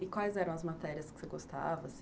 E quais eram as matérias que você gostava?